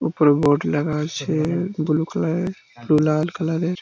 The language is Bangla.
উপরে বোর্ড লাগা আছে-এ বুলু কালার -এর লাল কালার - এর।